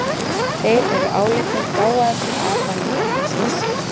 Þeir eru álitnir gáfaðastir apa nýja heimsins.